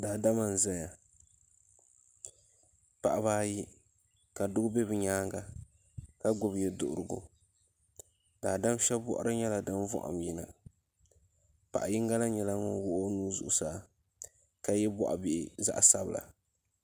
Daadama n ʒɛya paɣaba ayi ka doo bɛ bi nyaanga ka gbubi yɛduɣurigu daadam shab boɣari nyɛla din vaham yina paɣa yinga na nyɛla ŋun wuɣi o nuu zuɣusaa ka yɛ boɣa bihi zaɣ sabila